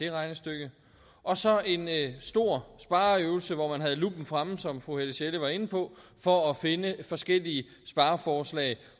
regnestykke og så en stor spareøvelse hvor man havde luppen fremme som fru helle sjelle var inde på for at finde forskellige spareforslag